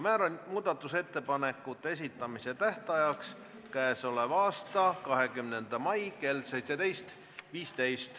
Määran muudatusettepanekute esitamise tähtajaks k.a 20. mai kell 17.15.